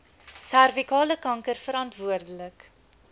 servikale kanker verantwoordelik